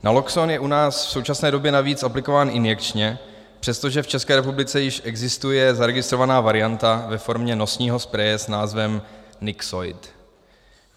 Naloxon je u nás v současné době navíc aplikován injekčně, přestože v České republice již existuje zaregistrovaná varianta ve formě nosního spreje s názvem Nixoid.